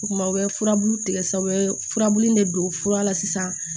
O kumana u bɛ furabulu tigɛ sa u bɛ furabulu de don fura la sisan